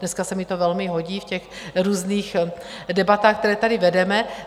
Dneska se mi to velmi hodí v těch různých debatách, které tady vedeme.